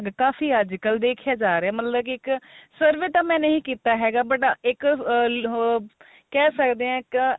ਕਾਫੀ ਅੱਜਕਲ ਦੇਖਿਆ ਜਾ ਰਿਹਾ ਮਤਲਬ ਕੀ ਇੱਕ survey ਤਾਂ ਮੈਂ ਨਹੀ ਕੀਤਾ ਹੈਗਾ but ਇੱਕ ah ਕਹਿ ਸਕਦੇ ਆ ਇੱਕ